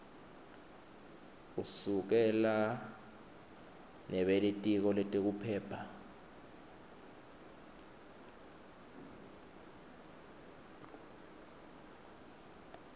usekela nebelitiko letekuphepha